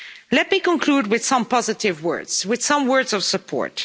Let me conclude with some positive words, with some words of support.